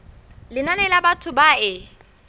lenane la batho ba e